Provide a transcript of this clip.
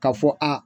Ka fɔ a